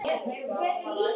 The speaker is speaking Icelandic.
Hann gerði allt betra.